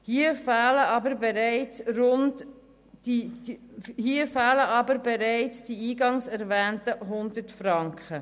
Hier fehlen aber bereits die eingangs erwähnten 100 Franken.